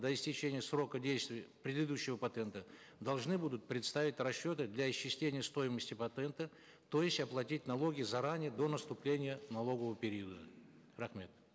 до истечения срока действия предыдущего патента должны будут предоставить расчеты для исчисления стоимости патента то есть оплатить налоги заранее до наступления налогового периода рахмет